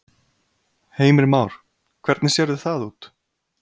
Heimir Már: Hvernig sérðu það út?